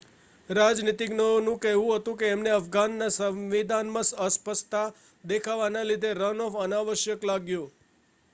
રાજનીતિજ્ઞઓ નું કહેવું હતું કે એમને અફઘાનના સવિંધાનમાં અસ્પષ્તા દેખાવા ના લીધે રન-ઑફ અનાવશ્યક લાગ્યો